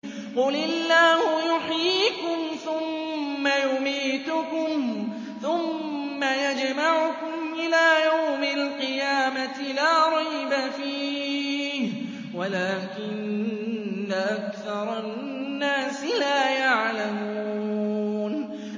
قُلِ اللَّهُ يُحْيِيكُمْ ثُمَّ يُمِيتُكُمْ ثُمَّ يَجْمَعُكُمْ إِلَىٰ يَوْمِ الْقِيَامَةِ لَا رَيْبَ فِيهِ وَلَٰكِنَّ أَكْثَرَ النَّاسِ لَا يَعْلَمُونَ